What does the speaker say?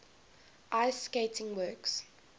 ice skating works